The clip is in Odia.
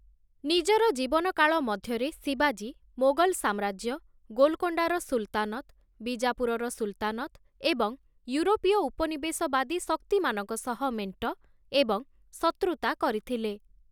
ନିଜର ଜୀବନକାଳ ମଧ୍ୟରେ ଶିବାଜୀ, ମୋଗଲ୍‌ ସାମ୍ରାଜ୍ୟ, ଗୋଲକୋଣ୍ଡାର ସୁଲତାନତ୍‌, ବିଜାପୁରର ସୁଲତାନତ୍‌ ଏବଂ ୟୁରୋପୀୟ ଉପନିବେଶବାଦୀ ଶକ୍ତିମାନଙ୍କ ସହ ମେଣ୍ଟ ଏବଂ ଶତ୍ରୁତା କରିଥିଲେ ।